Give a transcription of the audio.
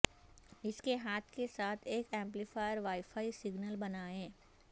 اس کے ہاتھ کے ساتھ ایک یمپلیفائر وائی فائی سگنل بنائیں